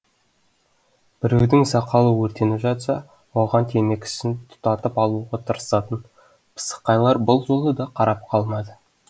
біреудің сақалы өртеніп жатса оған темекісін тұтатып алуға тырысатын пысықайлар бұл жолы да қарап қалмады